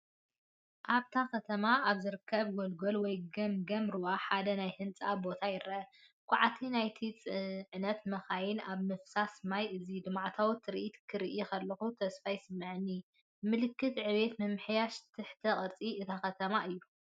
ኣብታ ከተማ ኣብ ዝርከብ ጎልጎል ወይ ገምገም ሩባ ሓደ ናይ ህንፀት ቦታ ይረአ። ኳዕቲን ናይ ጽዕነት መካይንን ኣብ ምፍሳስ ማይ ፣እዚ ልምዓታዊ ትርኢት ክርኢ ከለኹ ተስፋ ይስምዓኒ፡ ምልክት ዕብየትን ምምሕያሽ ትሕተ ቅርጽን እታ ከተማ እዩ።